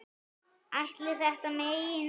Ætli þetta megi nokkuð?